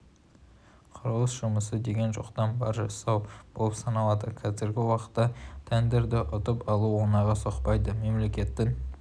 құрылыс жұмысы деген жоқтан бар жасау болып саналады қазіргі уақытта тендерді ұтып алу оңайға соқпайды мемлекеттің